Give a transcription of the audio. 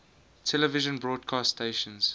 television broadcast stations